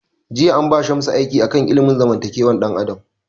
Jiya an ba Shamsu aiki a kan ilimin zamantakewar dan adam